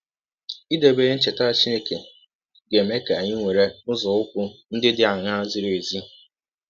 Idebe ihe ncheta Chineke ga - eme ka anyị were nzọụkwụ ndị dị aṅaa zịrị ezi?